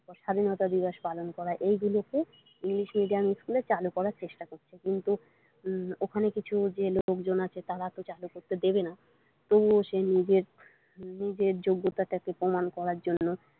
স্বাধীনতা দিবস পালন করা এইগুলোকে ইংলিশ মিডিয়াম ইস্কুলে চালু করার চেষ্টা করছে কিন্তু ওখানে কিছু যে লোকজন আছে তারা চালু করতে দেবে না তবুও সে নিজের যোগ্যতাটাকে প্রমান করার জন্য।